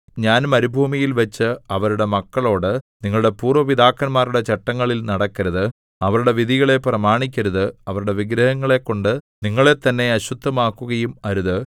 ഞാൻ മരുഭൂമിയിൽവച്ച് അവരുടെ മക്കളോടു നിങ്ങളുടെ പൂര്‍വ്വ പിതാക്കന്മാരുടെ ചട്ടങ്ങളിൽ നടക്കരുത് അവരുടെ വിധികളെ പ്രമാണിക്കരുത് അവരുടെ വിഗ്രഹങ്ങളെക്കൊണ്ടു നിങ്ങളെത്തന്നെ അശുദ്ധമാക്കുകയും അരുത്